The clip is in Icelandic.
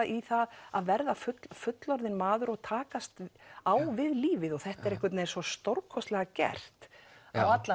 í það að verða fullorðinn maður og takast á við lífið þetta er einhvern veginn svo stórkostlega gert á allan